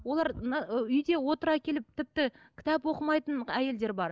олар мына ы үйде отыра келіп тіпті кітап оқымайтын әйелдер бар